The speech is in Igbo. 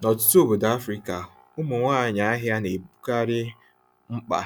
N'ọtụtụ obodo Afrịka, ụmụ nwanyị ahịa na-ebukarị mkpa